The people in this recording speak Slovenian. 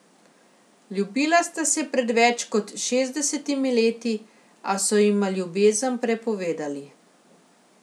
Ljubila sta se pred več kot šestdesetimi leti, a so jima ljubezen prepovedali.